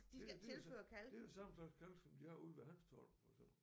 Det det det er det samme slags kalk som de har ude ved Hanstholm og sådan